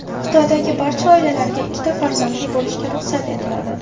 Xitoydagi barcha oilalarga ikkita farzandli bo‘lishga ruxsat etiladi.